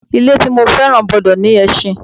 Ilẹ̀ tí mo fẹ́ràn gbọ́dọ̀ ní ẹṣin